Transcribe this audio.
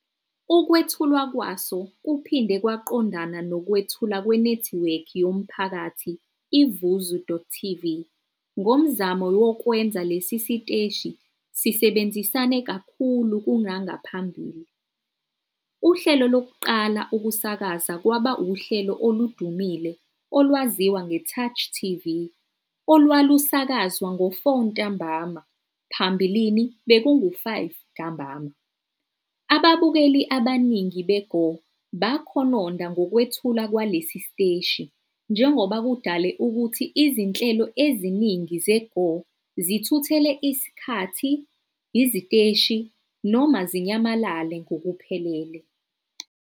Ukwethulwa kwaso kuphinde kwaqondana nokwethulwa kwenethiwekhi yomphakathi i-vuzu.tv ngomzamo wokwenza lesi siteshi sisebenzisane kakhulu kunangaphambili. Uhlelo lokuqala ukusakaza kwaba uhlelo oludumile olwaziwa ngeTouch TV, olwalusakazwa ngo-16-00, phambilini bekungu-17-00. Ababukeli abaningi beGo bakhononda ngokwethulwa kwalesi siteshi njengoba kudale ukuthi izinhlelo eziningi ze-go zithuthele isikhathi, iziteshi noma zinyamalale ngokuphelele.